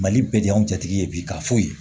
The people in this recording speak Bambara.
Mali bɛ de y'anw cɛtigi ye bi ka fɔ yen